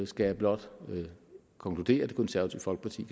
skal jeg blot konkludere at det konservative folkeparti